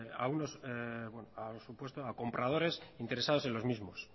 a compradores interesados en los mismos